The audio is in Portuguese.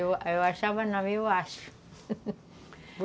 Eu achava não, eu acho